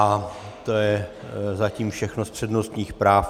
A to je zatím všechno z přednostních práv.